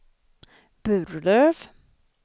Burlöv